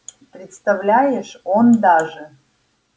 представляешь он даже